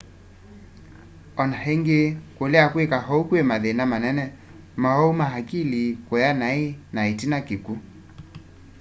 o na ĩngĩ kũlea kwĩka ou kwĩ mathĩna manene maũwau ma akili kũya naĩ na ĩtina kĩkw'u